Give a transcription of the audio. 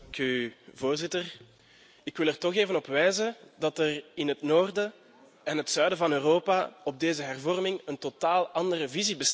Voorzitter, ik wil er toch even op wijzen dat er in het noorden en het zuiden van Europa op deze hervorming een totaal andere visie bestaat.